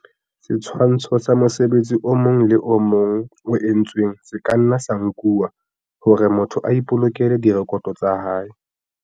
Setshwantsho sa mosebetsi o mong le o mong o entsweng se ka nna sa nkuwa hore motho a ipolokele direkoto tsa hae.